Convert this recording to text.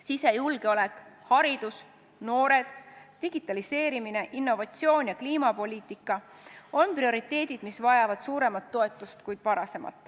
Sisejulgeolek, haridus, noored, digitaliseerimine, innovatsioon ja kliimapoliitika on prioriteedid, mis vajavad suuremat toetust kui varem.